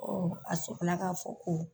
a sɔrɔ la k'a fɔ ko